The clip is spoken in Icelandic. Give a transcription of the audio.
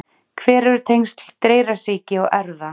Hver eru tengsl dreyrasýki og erfða?